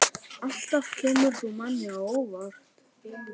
Alltaf kemur þú manni á óvart.